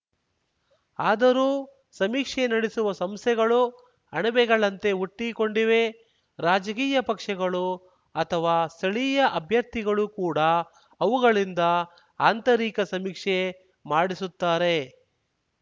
ಆದರೂ ಸಮೀಕ್ಷೆ ನಡೆಸುವ ಸಂಸ್ಥೆಗಳು ಅಣಬೆಗಳಂತೆ ಹುಟ್ಟಿಕೊಂಡಿವೆ ರಾಜಕೀಯ ಪಕ್ಷಗಳು ಅಥವಾ ಸ್ಥಳೀಯ ಅಭ್ಯರ್ಥಿಗಳು ಕೂಡ ಅವುಗಳಿಂದ ಆಂತರಿಕ ಸಮೀಕ್ಷೆ ಮಾಡಿಸುತ್ತಾರೆ